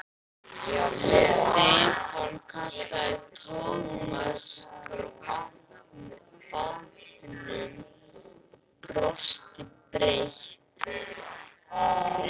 Stefán kallaði Thomas frá bátnum og brosti breitt.